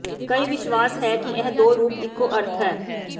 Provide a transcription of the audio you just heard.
ਕਈ ਵਿਸ਼ਵਾਸ ਹੈ ਕਿ ਇਹ ਦੋ ਰੂਪ ਇੱਕੋ ਅਰਥ ਹੈ